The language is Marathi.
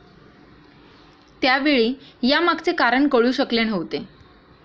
त्यावेळी यामागचे कारण कळू शकले नव्हते.